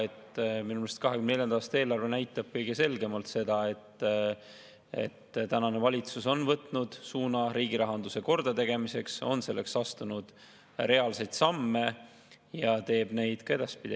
Minu meelest 2024. aasta eelarve näitab kõige selgemalt seda, et tänane valitsus on võtnud suuna riigi rahanduse kordategemiseks, on astunud selleks reaalseid samme ja teeb neid ka edaspidi.